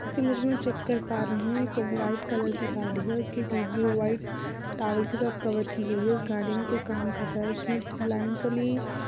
इसी मुझमे चेक कर पा रहे हैंऔर एक व्हाइट कलर की गाड़ी हैं उसके शीट भी व्हाइट टावेल के साथ कवर की गई हैंउस गाड़ी मे कोई काम कर रहा हैं उसने